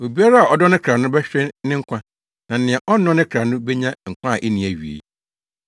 Obiara a ɔdɔ ne kra no bɛhwere ne nkwa, na nea ɔnnɔ ne kra no benya nkwa a enni awiei.